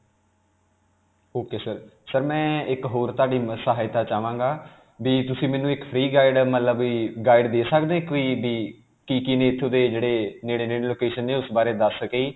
ok sir, sir ਮੈਂ ਇਕ ਹੋਰ ਤੁਹਾਡੀ ਮਮ ਸਹਾਇਤਾ ਚਾਵਾਂਗਾ ਕਿ ਤੁਸੀਂ ਮੈਨੂੰ ਇਕ free guide ਅਅ ਮਤਲਬ ਕਿ guide ਦੇ ਸਕਦੇ ਹੋ? ਕੋਈ ਵੀ. ਕਿ-ਕਿ ਨੇ ਏਥੋਂ ਦੇ ਜਿਹੜੇ ਨੇੜੇ-ਨੇੜੇ location ਨੇ ਉਸ ਬਾਰੇ ਦਸ ਸਕੇ ਜੀ.